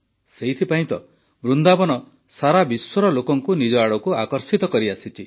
ସେଇଥିପାଇଁ ତ ବୃନ୍ଦାବନ ସାରାବିଶ୍ୱର ଲୋକଙ୍କୁ ନିଜ ଆଡ଼କୁ ଆକର୍ଷିତ କରିଆସିଛି